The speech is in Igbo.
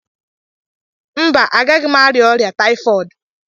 Mba, agaghị m arịa ọrịa taifọdụ